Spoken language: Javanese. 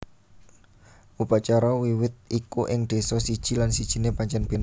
Upacara Wiwit iku ing désa siji lan sijiné pancèn béda